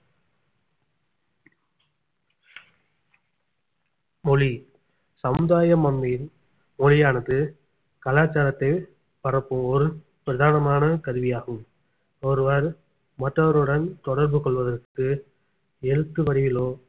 மொழி சமுதாயம் நம்மில் மொழியானது கலாச்சாரத்தை பரப்புவோர் பிரதானமான கருவியாகும் ஒருவர் மற்றவருடன் தொடர்பு கொள்வதற்கு எழுத்து வடிவிலோ